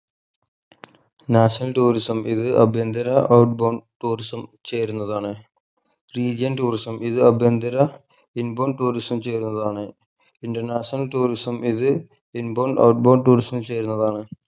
national tourism ഇത് അഭ്യന്തര outbound tourism ചേരുന്നതാണ് region tourism ഇത് അഭ്യന്തര inbound tourism ചേരുന്നതാണ് international tourism ഇത് inbound outbound tourism ചേരുന്നതാണ്